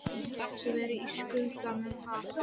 Hann hefur alltaf verið í skugganum af